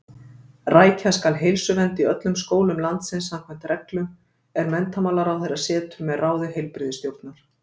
Rækja skal heilsuvernd í öllum skólum landsins samkvæmt reglum, er menntamálaráðherra setur með ráði heilbrigðisstjórnar.